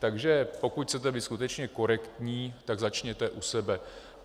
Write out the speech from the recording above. Takže pokud chcete být skutečně korektní, tak začněte u sebe.